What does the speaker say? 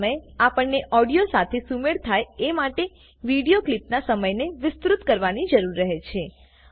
આવા સમયે આપણને ઓડિયો સાથે સુમેળ થાય એ માટે વિડીયો ક્લીપનાં સમયને વિસ્તૃત કરવાની જરૂર રહે છે